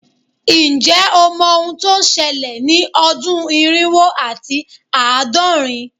Nje o mo ohun to sele ni odun irinwo ati aadorin